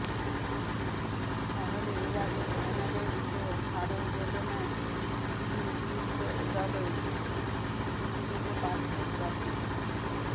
তাহলে এর আগে ফাইনালে উঠেও হারের বেদনায় বিলীন দুই দলই ভেসে যেতে পারত ট্রফি